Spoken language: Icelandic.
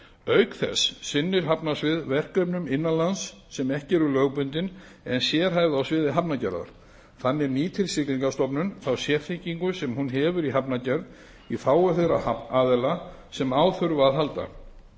auk þess sinnir hafnasvið verkefnum innan lands sem ekki eru lögbundin en sérhæfð á sviði hafnargerðar þannig nýtir siglingastofnun þá sérþekkingu sem hún hefur í hafnargerð í þágu þeirra aðila sem á þurfa að halda